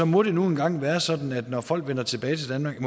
må det nu engang være sådan at det når folk vender tilbage til danmark